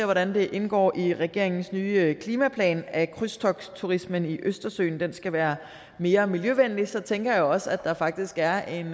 hvordan det indgår i regeringens nye klimaplan at krydstogtsturismen i østersøen skal være mere miljøvenlig så tænker jeg også at der faktisk er en